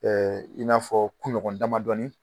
i n'a fɔ kuɲɔgɔn damadɔnin